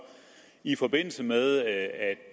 i forbindelse med at